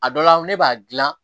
A dɔ la ne b'a dilan